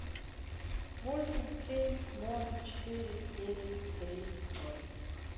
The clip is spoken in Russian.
восемь семь ноль четыре девять три ноль